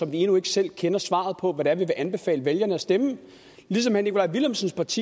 vi endnu ikke selv kender svaret på hvad vi vil anbefale vælgerne at stemme ligesom herre nikolaj villumsens parti